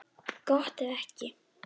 Gott ef ekki.